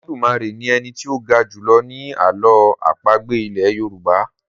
Olodumare ní Eni tí o ga julọ ni àlọ́ àpagbè ilè yorùbá.